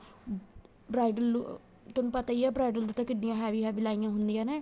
bridal ਤੈਨੂੰ ਪਤਾ ਹੀ ਏ bridal ਤੇ ਕਿੱਢੀਆਂ heavy heavy ਲਾਈਆਂ ਹੁੰਦੀਆਂ ਨੇ